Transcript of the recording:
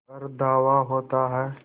पर धावा होता है